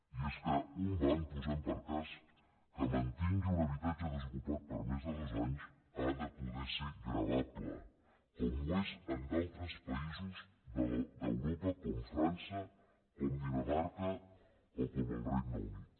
i és que un banc posem per cas que mantingui un habitatge desocupat per més de dos anys ha de poder ser gravable com ho és en d’altres països d’europa com frança com dinamarca o com el regne unit